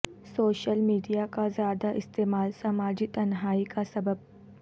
social media کا زیادہ استعمال سماجی تنہائی کا سبب